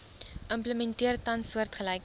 implementeer tans soortgelyke